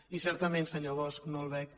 i certament senyor bosch no el veig